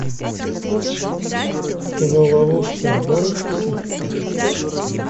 кино ловушка можешь включить